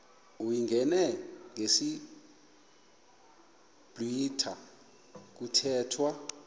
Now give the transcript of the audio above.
uyingene ngesiblwitha kuthethwa